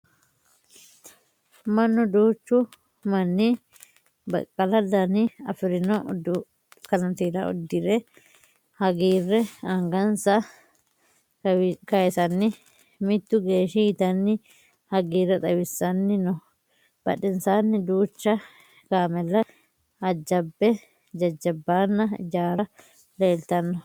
Mannu duuchu manni baqqala Dana afirino kanitiira udhidhe hagiirre angansa kayisanni mitu geeshshi yitanni hagiirre xawissanni no. Badhensaanni duucha kameella jajjabba ijaarra leeltanno.